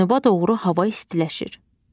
Cənuba doğru hava istiləşir.